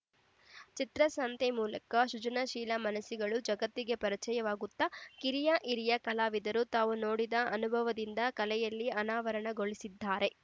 ಚಿತ್ರಸಂತೆ ಮೂಲಕ ಸೃಜನಶೀಲ ಮನಸ್ಸುಗಳು ಜಗತ್ತಿಗೆ ಪರಿಚಯವಾಗುತ್ತ ಕಿರಿಯಹಿರಿಯ ಕಲಾವಿದರು ತಾವು ನೋಡಿದ ಅನುಭವದಿಂದ ಕಲೆಯಲ್ಲಿ ಅನಾವರಣಗೊಳಿಸಿದ್ದಾರೆ